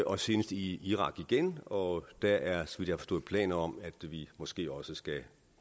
og senest i irak igen og der er så vidt jeg har forstået planer om at vi måske også skal